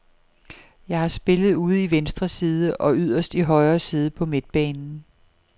Jeg har spillet ude i venstre side og yderst i højre side på midtbanen.